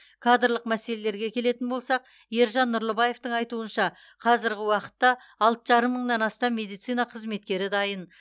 кадрлық мәселелерге келетін болсақ ержан нұрлыбаевтың айтуынша қазіргі уақытта алты жарым мыңнан астам медицина қызметкері дайын